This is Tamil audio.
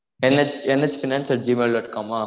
NHNH finance at gmail dot com ah